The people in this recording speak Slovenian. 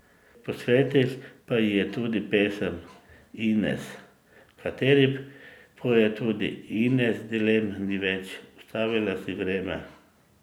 Posvetil pa ji je tudi pesem Ines, v kateri poje tudi: 'Ines dilem ni več, ustavila si vreme ...